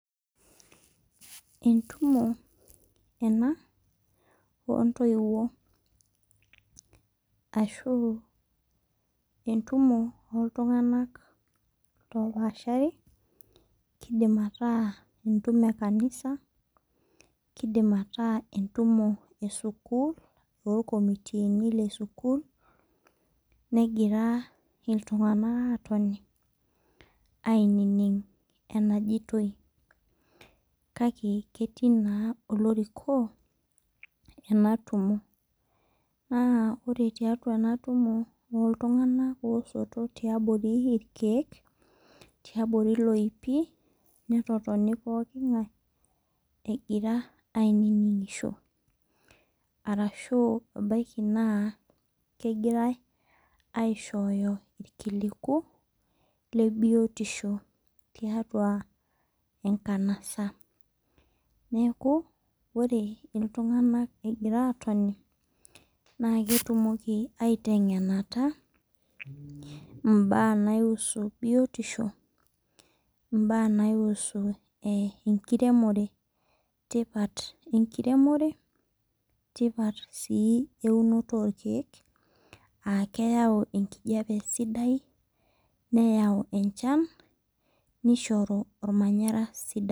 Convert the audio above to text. Entumo ena oo ntoiwuo ashu entumo oo ltung'ana loo pashari kidim ataa entumo ee kanisa kidim ataa entumo ee sukul oo ircomitini le sukul negira iltung'ana atoni ainining' anajoiti kake ketii naa olorikobena tumo. Naa ore tiatua ena tumo oltung'ani osoto tiabori irkeek tiabori iloipi netotonu pookin ng'ae egira ainining'isho. Arashu ebaki naa kegirae aishoyo irkiliku le biotisho tiatua enkanasa. Neeku ore iltung'ana egira atoni naa ketumoki ateng'enata ibaa naihusu biotisho ibaa naihusu enkiremok tipat enkiremore tipat sii eunirr orkeek aa keyau enkijape sidai neyau enchan nishoru ormanyara sidai.